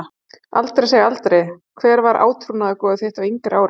Aldrei segja aldrei Hver var átrúnaðargoð þitt á yngri árum?